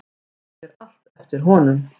Það fer allt eftir honum.